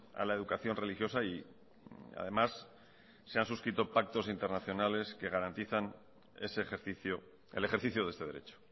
a la educación religiosa y además se han suscrito pactos internacionales que garantizan ese ejercicio el ejercicio de este derecho